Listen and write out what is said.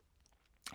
DR K